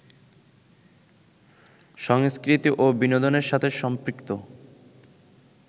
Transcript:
সংস্কৃতি ও বিনোদনের সাথে সম্পৃক্ত